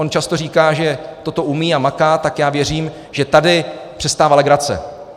On často říká, že toto umí a maká, tak já věřím, že tady přestává legrace.